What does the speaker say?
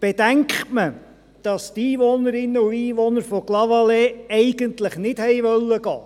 Bedenkt man, dass die Einwohnerinnen und Einwohner von Clavaleyres eigentlich nicht gehen wollten ...